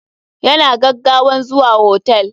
Ya na gaggawan zuwa hotel.